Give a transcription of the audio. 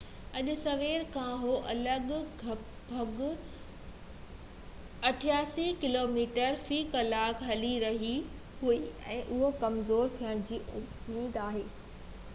اڄ سوير کان ھوا لڳ ڀڳ 83 ڪلوميٽر في ڪلاڪ هلي رئي هئي ۽ اهو ڪمزور ٿيڻ جي اميد هئي